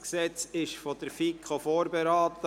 Das Gesetz wurde von der FiKo vorberaten.